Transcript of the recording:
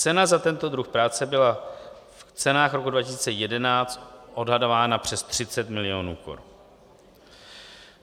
Cena za tento druh práce byla v cenách roku 2011 odhadována přes 30 milionů korun.